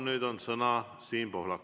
Nüüd on sõna Siim Pohlakul.